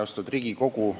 Austatud Riigikogu!